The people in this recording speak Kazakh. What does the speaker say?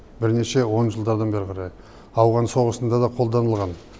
бірнеше он жылдардан бері қарай ауған соғысында да қолданылған